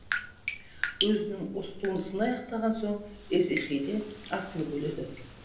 өзінің осы туындысын аяқтаған соң есихиде асылып өледі